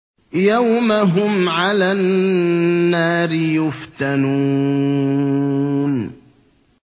يَوْمَ هُمْ عَلَى النَّارِ يُفْتَنُونَ